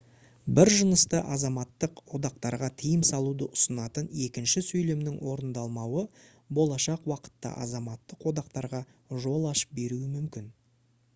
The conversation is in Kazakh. бір жынысты азаматтық одақтарға тыйым салуды ұсынатын екінші сөйлемнің орындалмауы болашақ уақытта азаматтық одақтарға жол ашып беруі мүмкін